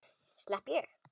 Slepp ég?